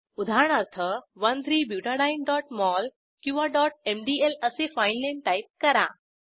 उदाहरणार्थ 13butadieneमोल किंवा mdl असे फाईलनेम टाईप करा